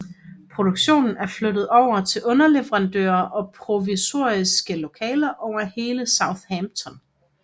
Produktion blev flyttet over til underleverandører og provisoriske lokaler over hele Southampton